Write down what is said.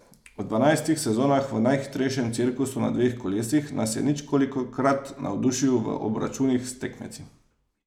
V dvanajstih sezonah v najhitrejšem cirkusu na dveh kolesih nas je ničkolikokrat navdušil v obračunih s tekmeci.